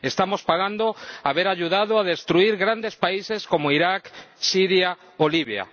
estamos pagando haber ayudado a destruir grandes países como Irak, Siria o Libia.